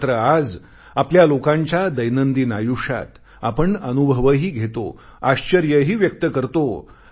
मात्र आज आपणा लोकांच्या दैनंदिन आयुष्यात आपण अनुभवही घेतो आश्चर्यही व्यक्त करतो